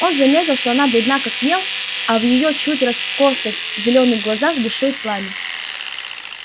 он заметил что она бледна как мел а в её чуть раскосых зелёных глазах бушует пламя